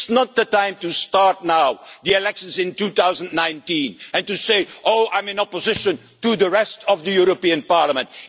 It's not the time to start the elections in 2019 and to say, I'm in opposition to the rest of the European Parliament'